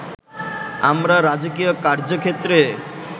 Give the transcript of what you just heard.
আমরা রাজকীয় কার্য্যক্ষেত্রে